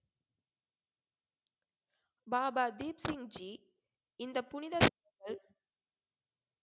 பாபா தீப்சிங்ஜி இந்த புனித